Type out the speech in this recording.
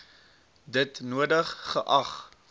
dit nodig geag